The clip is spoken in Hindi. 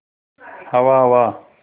हवा हवा